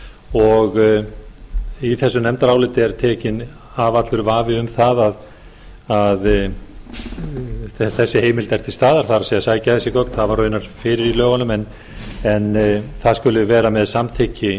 og í þessu nefndaráliti er tekinn af allur vafi um það að þessi heimild er til staðar það er að sækja þessi gögn það var raunar fyrir í lögunum en það skuli vera með samþykki